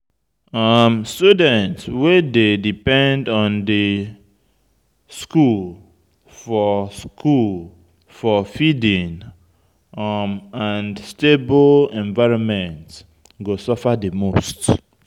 Students wey dey depend on di school for school for feeding um and stable environment go suffer di most